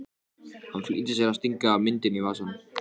Hann flýtir sér að stinga myndinni í vasann.